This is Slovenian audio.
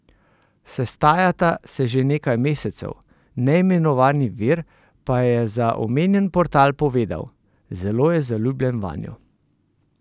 Sestajata se že nekaj mesecev, neimenovani vir pa je za omenjen portal povedal: "Zelo je zaljubljen vanjo.